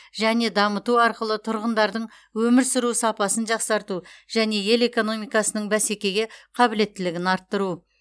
және дамыту арқылы тұрғындардың өмір сүру сапасын жақсарту және ел экономикасының бәсекеге қабілеттілігін арттыру